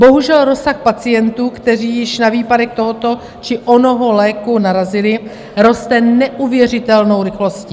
Bohužel rozsah pacientů, kteří již na výpadek toho či onoho léku narazili, roste neuvěřitelnou rychlostí.